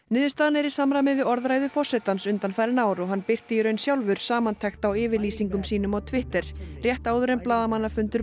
niðurstaðan er í samræmi við orðræðu forsetans undanfarin ár og hann birti í raun sjálfur samantekt á yfirlýsingum sínum á Twitter rétt áður en blaðamannafundur